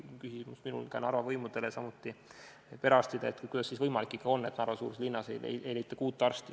Siis oli minul küsimus Narva võimudele, samuti perearstidele, kuidas on ikkagi võimalik, et Narva-suuruses linnas ei leita kuut arsti.